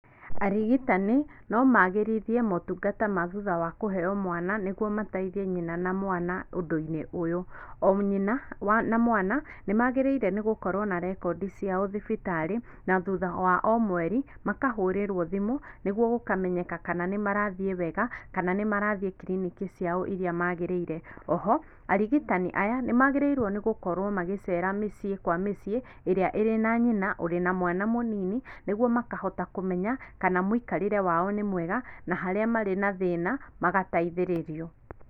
Arigitani, nomagĩrithie motungata ma thutha wa kũheyo mwana, nĩguo mateithie nyina na mwana ũndũ-inĩ ũyũ. O nyina na mwana, nĩmagĩrĩire nĩgũkorwo na rekondi ciao thibitarĩ, na thutha wa omweri, makahũrĩrwo thimũ, nĩguo gũkamenyeka kana nĩmarathiĩ wega, kana nĩmarathiĩ kiriniki ciao irĩa magĩrĩire. O ho, arigitani aya nĩmagĩrĩirwo nĩgũkorwo magĩcera mĩciĩ kwa mĩciĩ, ĩrĩa ĩrĩ na nyina ũrĩ na mwana mũnini, nĩguo makahota kũmenya, kana mũikarĩre wao nĩ mwega, na harĩa marĩ na thĩna, magataithĩrĩrio.